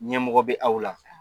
Ɲɛmɔgɔ bɛ aw la